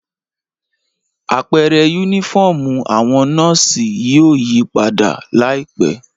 Apẹrẹ unifọmú awọn nọọsi yóò yipada laipẹ.